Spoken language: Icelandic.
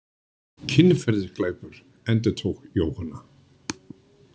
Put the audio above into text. Kynferðisglæpur, endurtók Jóhanna.